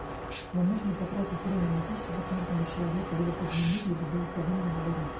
вам нужно потратить время на то чтобы каждому человеку либо позвонить либо голосовым ноговориться